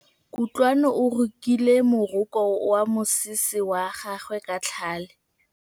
Kutlwanô o rokile morokô wa mosese wa gagwe ka tlhale.